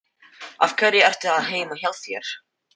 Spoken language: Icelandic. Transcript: Af hverju ertu ekki heima hjá þér?